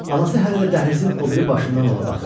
Anası hələ də dəhlizin o biri başından ona baxırdı.